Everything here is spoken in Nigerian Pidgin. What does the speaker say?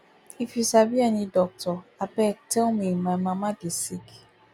if you sabi any doctor abeg tell me my mama dey sick